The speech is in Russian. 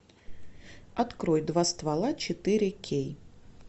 открой два ствола четыре кей